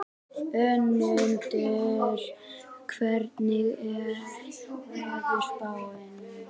Önundur, hvernig er veðurspáin?